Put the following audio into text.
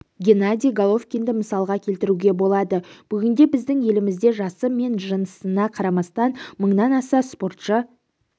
геннадий головкинді мысалға келтіруге болады бүгінде біздің елімізде жасы мен жынысына қарамастан мыңнан аса спортшы